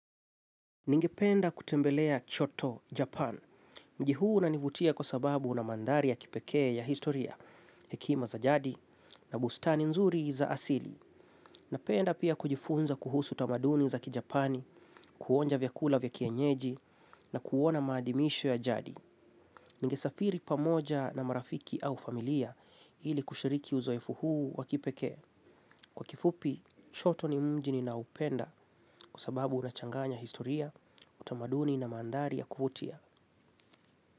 Ningependa kutembelea choto Japan. Mji huu unanivutia kwa sababu una mandhari ya kipekee ya historia, hekima za jadi, na bustani nzuri za asili. Napenda pia kujifunza kuhusu tamaduni za kijapani, kuonja vyakula vya kienyeji, na kuona maadimisho ya jadi. Ningesafiri pamoja na marafiki au familia ili kushiriki uzoefu huu wa kipekee. Kwa kifupi, Choto ni mji ninaoupenda kwa sababu unachanganya historia, utamaduni na mandhari ya kuutia.